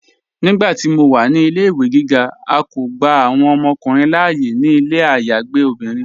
Nígbàtí mó wà ní ilẹ̀-ìwé gígá, à kó gbà awọn ọmọkùnrin láàyè ní ilẹ̀ ayágbe obìnrin.